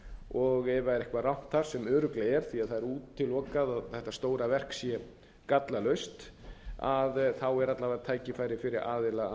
og ef það er eitthvað rangt þar sem örugglega er því að það er útilokað að þetta stóra verk sé gallalaust þá er alla vega tækifæri fyrir aðila